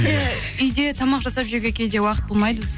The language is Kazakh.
иә үйде тамақ жасап жеуге кейде уақыт болмайды